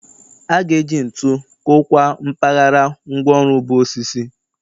A ga-eji ntu kụkwaa mpaghara ngwaọrụ bụ osisi.